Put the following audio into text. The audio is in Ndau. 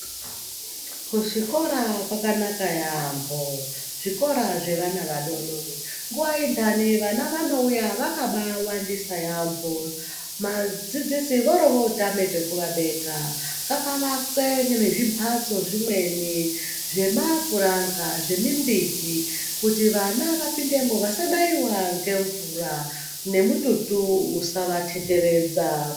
Kuchikora kwakanaka yaambho. Zvichikora zvevana vadodori, nguva yendhani vana vanouya vakabaawandisa yaambho. Madzidzisi vorotama pekuvabeka. Ngapavakwe ngezvimbatso zvimweni zvemapuranga ,zvemimbiti kuti vana vapindemo vasanaiwa ngemvura nemututu usavathetheredza.